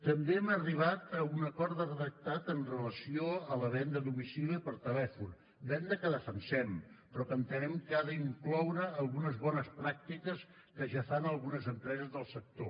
també hem arribat a un acord de redactat amb relació a la venda a domicili o per telèfon venda que defensem però que entenem que ha d’incloure algunes bones pràctiques que ja fan algunes empreses del sector